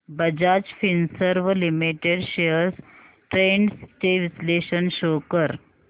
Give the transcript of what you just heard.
Bajaj Finserv limited shares trends चे विश्लेषण show कर